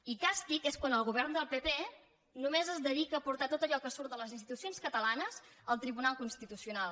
i càstig és quan el govern del pp només es dedica a portar tot allò que surt de les institucions catalanes al tribunal constitu·cional